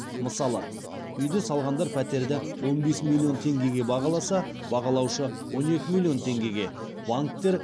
мысалы үйді салғандар пәтерді он бес миллион теңгеге бағаласа бағалаушы он екі миллион теңгеге банктер